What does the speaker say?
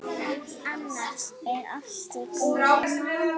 Annars er allt í góðu.